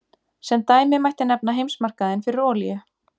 Sem dæmi mætti nefna heimsmarkaðinn fyrir olíu.